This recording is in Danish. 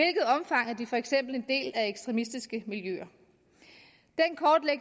for eksempel er en del af ekstremistiske miljøer